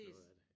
Noget af det